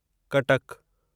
कटक